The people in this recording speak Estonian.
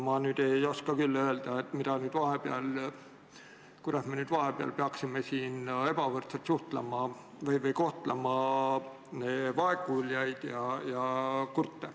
Ma ei oska küll öelda, kuidas me nüüd vahepeal peaksime siin ebavõrdselt kohtlema vaegkuuljaid ja kurte.